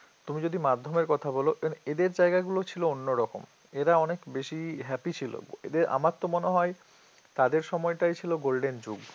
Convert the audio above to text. তুমি যদি মাধ্যমের কথা বল এদের জায়গা গুলো ছিল অন্যরকম এরা অনেক বেশি happy ছিল এদের আমার তো মনে হয় তাদের সময়টাই ছিল golden যুগ